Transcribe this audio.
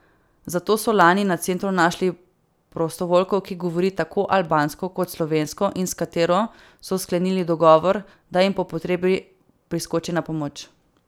Zato so lani na centru našli prostovoljko, ki govori tako albansko kot slovensko in s katero so sklenili dogovor, da jim po potrebi priskoči na pomoč.